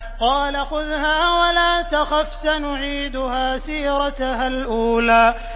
قَالَ خُذْهَا وَلَا تَخَفْ ۖ سَنُعِيدُهَا سِيرَتَهَا الْأُولَىٰ